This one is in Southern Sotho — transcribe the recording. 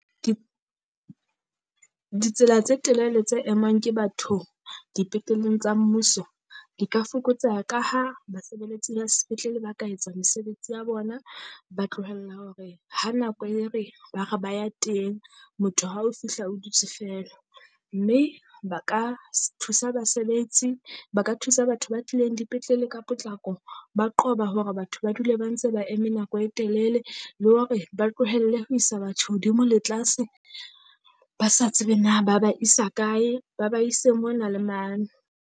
Ditsela tse telele tse emang ke batho dipetleleng tsa mmuso. Di ka fokotseha ka ha basebeletsi ba spetlele ba ka etsa mesebetsi ya bona, ba tlohella hore ha nako e re ba re ba ya teng, motho ha o fihla o dutse feela. Mme ba ka se thusa basebetsi ba ka thusa batho ba tlileng dipetlele ka potlako ba qoba hore batho ba dule ba ntse ba eme nako e telele. Le hore ba tlohelle ho isa batsho hodimo le tlase, ba sa tsebe na ba ba isa kae, ba ba ise mona le mane.